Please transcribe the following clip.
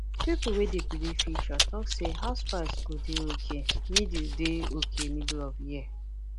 people wey dey predict future talk say house price go dey okay middle dey okay middle of year